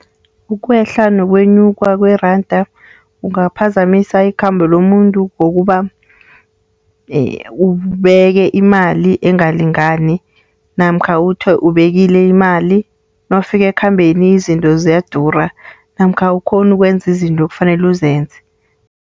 Ukwehla wokwenyuka kweranda kungaphazamisa ikhambo lomuntu ngokuba ubeke imali engalingani, namkha uthi ubekile imali, nawufika ekhambeni izinto ziyadura. Namkha awukghoni ukwenza izinto ekufanele uzenze.